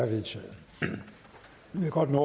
kommet